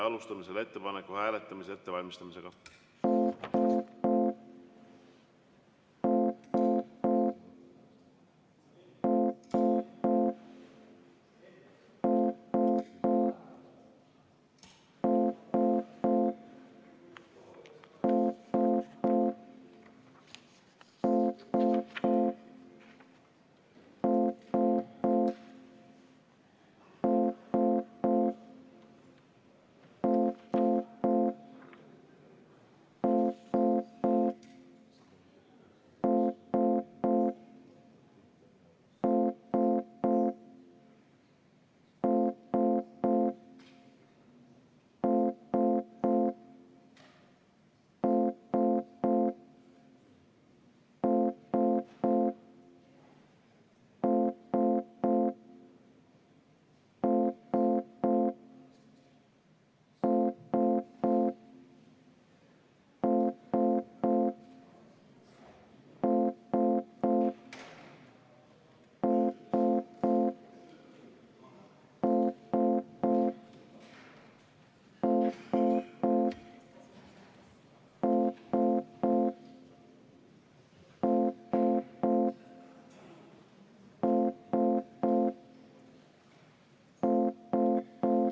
Alustame selle ettepaneku hääletamise ettevalmistamist.